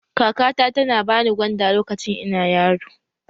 Kakata tana ba ni gwanda lokacin ina yaro